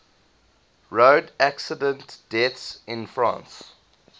road accident deaths in france